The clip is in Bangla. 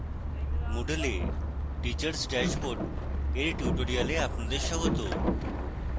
moodle এ teachers dashboard এর tutorial আপনাদের স্বাগত